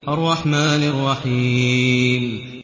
الرَّحْمَٰنِ الرَّحِيمِ